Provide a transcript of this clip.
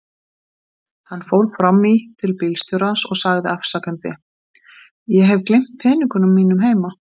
Hann fór fram í til bílstjórans og sagði afsakandi: Ég hef gleymt peningunum heima.